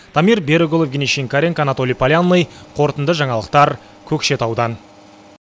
дамир берікұлы евгений шинкаренко анатолий полянный қорытынды жаңалықтар көкшетаудан